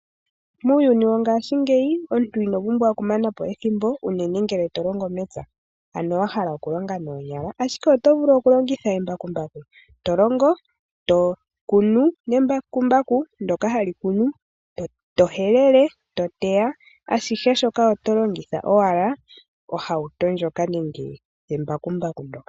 Muuyuni wongashingeyi omuntu ino pumbwa okumanapo ethimbo unene ngele longo mepya, ano wahala okulonga noonyala, ashike oto vulu okulongitha embakumbaku , tolongo, tokunu nembakumbaku ndyoka hali kunu, tohelele eto teya ashihe shoka oto longitha owala ohauto nenge embakumbaku.